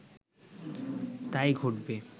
তাই ঘটবে